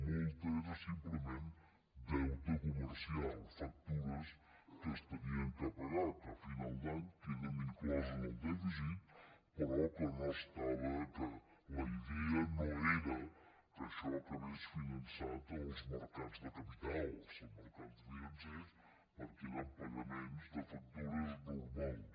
molt era simplement deute comercial factures que s’havien de pagar que a final d’any queden incloses en el dèficit però la idea no era que això acabés finançat en els mercats de capitals els mercats financers perquè eren pagaments de factures normals